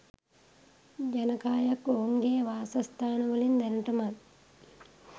ජනකායක් ඔවුන්ගේ වාසස්ථානවලින් දැනටමත්